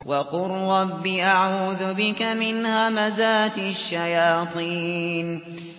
وَقُل رَّبِّ أَعُوذُ بِكَ مِنْ هَمَزَاتِ الشَّيَاطِينِ